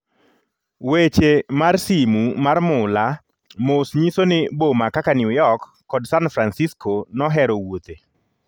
weche mar simu mar mula mos nyiso ni boma kaka New York kod San Fransisco nohero wuothe